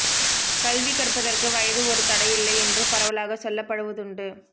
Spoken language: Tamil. கல்வி கற்பதற்கு வயது ஒரு தடையில்லை என்று பரவலாக சொல்லப்படுவதுண்டு